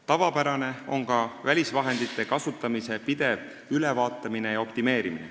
Tavapärane on ka välisvahendite kasutamise pidev ülevaatamine ja optimeerimine.